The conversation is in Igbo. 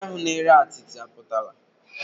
Ndị ahụ na-ere atịtị apụtala?